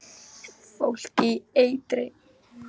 Fólk í eitri